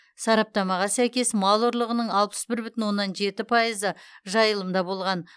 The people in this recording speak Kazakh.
сараптамаға сәйкес мал ұрлығының алпычс бір бүтін оннан жеті пайызы жайылымда болған